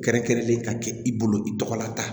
Kɛrɛnkɛrɛnlen ka kɛ i bolo i tɔgɔ la